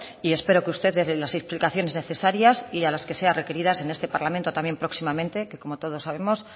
y espero que usted dé las explicaciones necesarias y a las que sean requeridas en este parlamento también próximamente que como todos sabemos